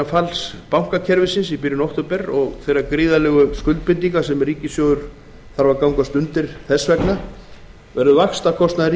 falls bankakerfisins og allra þeirra gríðarlegu skuldbindinga sem ríkissjóður þarf að gangast undir þess vegna verður vaxtakostnaður